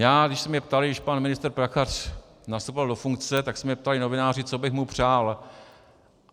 Já, když se mě ptali, když pan ministr Prachař nastupoval do funkce, tak se mě ptali novináři, co bych mu přál.